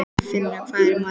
Finna, hvað er í matinn?